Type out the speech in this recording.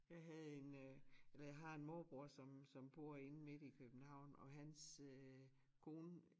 Jeg havde en øh eller jeg har en morbror som som bor inde midt i København og hans øh kone